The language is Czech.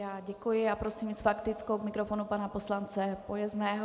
Já děkuji a prosím s faktickou k mikrofonu pana poslance Pojezného.